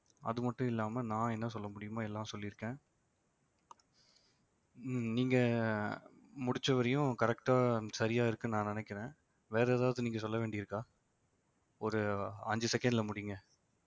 அது மட்டும் இல்லாம நான் என்ன சொல்ல முடியுமோ எல்லாம் சொல்லிருக்கேன் ஹம் நீங்க முடிச்ச வரையும் correct ஆ சரியா இருக்குன்னு நான் நினைக்கிறேன் வேற ஏதாவது நீங்க சொல்ல வேண்டியிருக்கா ஒரு அஞ்சு second ல முடிங்க